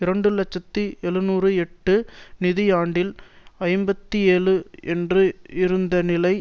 இரண்டு இலட்சத்தி எழுநூற்று எட்டு நிதி ஆண்டில் ஐம்பத்தி ஏழு என்று இருந்த நிலை